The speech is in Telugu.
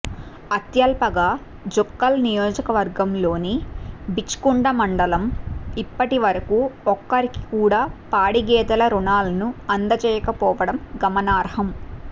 అత్యల్పగా జుక్కల్ నియోజకవర్గంలోని బిచ్కుంద మండలం ఇప్పటి వరకు ఒక్కరికి కూడా పాడి గేదెల రుణాలను అందజేయకపోవడం గమనార్హం